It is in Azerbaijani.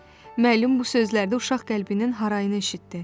Müəllim bu sözlərdə uşaq qəlbinin harayını eşitdi.